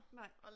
Nej